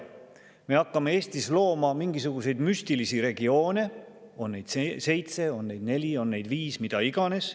Me hakkame Eestis looma mingisuguseid müstilisi regioone, on neid seitse, on neid neli, on neid viis, mida iganes.